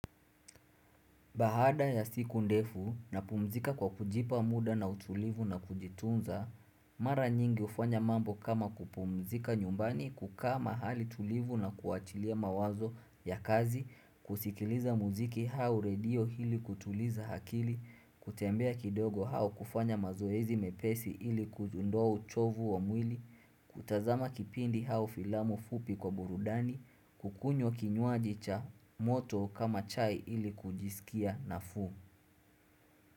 Bahada ya siku ndefu napumzika kwa kujipa muda na utulivu na kujitunza, mara nyingi ufanya mambo kama kupumzika nyumbani kukaa mahali tulivu na kuachilia mawazo ya kazi, kusikiliza muziki hau radio hili kutuliza hakili, kutembea kidogo hau kufanya mazoezi mepesi ili kujundua uchovu wa mwili. Kutazama kipindi hau filamu fupi kwa burudani, kukunywa kinywaji cha moto kama chai ili kujisikia nafu u.